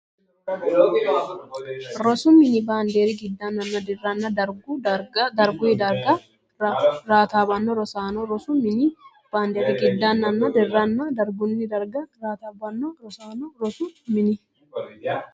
Rosu mini baandiri giddannanna dirranna dargunni darga raataabbanno rosaano Rosu mini baandiri giddannanna dirranna dargunni darga raataabbanno rosaano Rosu mini.